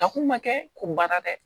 Ta kun ma kɛ ko baara dɛ